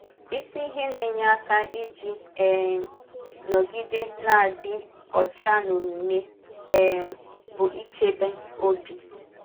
Isi ihe na-enye aka iji um nọgide na-adị ọcha n’omume um bụ ichebe ọ̀bì.